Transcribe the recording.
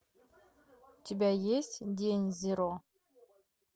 у тебя есть день зеро